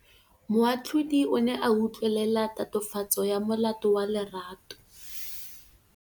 Moatlhodi o ne a utlwelela tatofatsô ya molato wa Lerato.